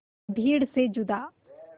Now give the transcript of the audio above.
भीड़ से जुदा